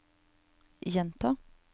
gjenta